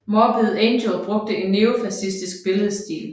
Morbid Angel brugte en neofascistisk billedstil